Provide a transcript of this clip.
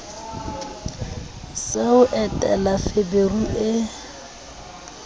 sa ho entela feberu e